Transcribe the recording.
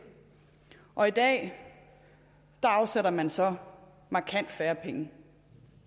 og i dag afsætter man så markant færre penge